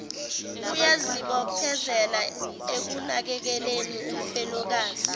uyazibophezela ekunakekeleni umfelokazi